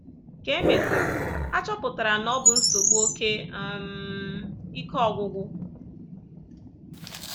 Ka e mesịrị, a chọpụtara na ọ bụ nsogbu oké um ike ọgwụgwụ.